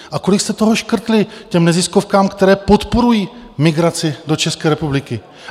A kolik jste toho škrtli těm neziskovkám, které podporují migraci do České republiky?